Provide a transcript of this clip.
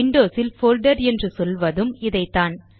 விண்டோஸில் folder என்று சொல்வதும் இதைத்தான்